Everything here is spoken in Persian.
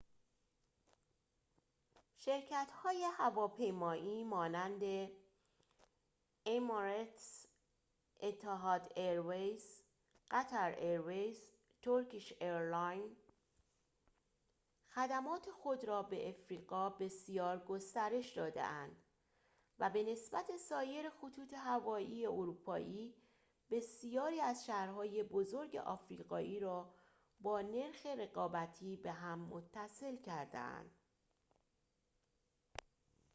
شرکت‌های هواپیمایی مانند emirates etihad airways qatar airways و turkish airlines خدمات خود را به آفریقا بسیار گسترش داده‌اند و به نسبت سایر خطوط هوایی اروپایی بسیاری از شهرهای بزرگ آفریقایی را با نرخ رقابتی به هم متصل کرده‌اند